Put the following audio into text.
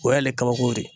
O y'ale kabako de ye